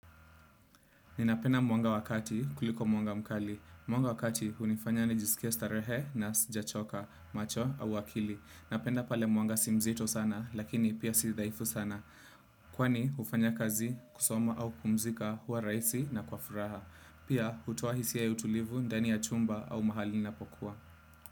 Ninapenda mwanga wakati kuliko mwanga mkali. Mwanga wakati hunifanya nijisikie starehe na sija choka, macho au akili. Napenda pale mwanga si mzito sana lakini pia si dhaifu sana. Kwani hufanya kazi kusoma au kupumzika kuwa raisi na kwa furaha. Pia hutowa hisiya ya utulivu, ndani ya chumba au mahali inapokua.